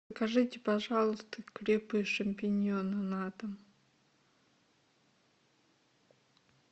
закажите пожалуйста грибы шампиньоны на дом